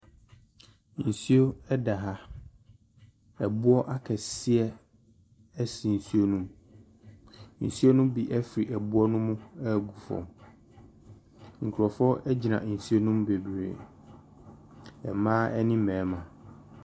Nsuo da ha, ɛboɔ akɛseɛ si nsuo ne mu. Nsuo ne bi firi boɔ ne mu ɛregu famu. Nkurɔfoɔ gyina nsuo ne mu bebree, mmaa ne mmarima.